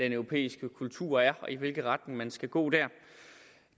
europæiske kultur er og i hvilken retning man skal gå der